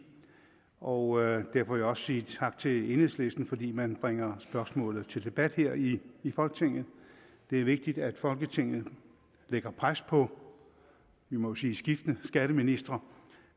og derfor vil jeg også sige tak til enhedslisten fordi man bringer spørgsmålet til debat her i i folketinget det er vigtigt at folketinget lægger pres på vi må jo sige skiftende skatteministre